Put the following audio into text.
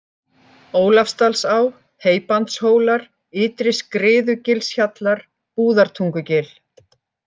Ólafsdalsá, Heybandshólar, Ytri-Skriðugilshjallar, Búðartungugil